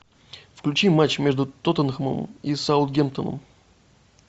включи матч между тоттенхэмом и саутгемптоном